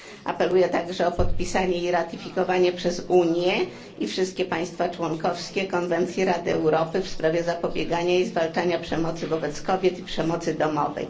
Apeluję także o podpisanie i ratyfikowanie przez Unię i wszystkie państwa członkowskie konwencji Rady Europy w sprawie zapobiegania i zwalczania przemocy wobec kobiet i przemocy domowej.